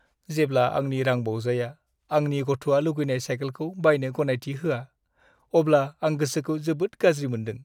जेब्ला आंनि रांबावजाया आंनि गथ'आ लुगैनाय साइकेलखौ बायनो गनायथि होआ, अब्ला आं गोसोखौ जोबोद गाज्रि मोनदों।